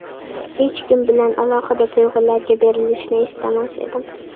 Hech kim bilan alohida tuyg‘ularga berilishni istamas edim.